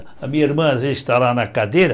A minha irmã, às vezes, está lá na cadeira.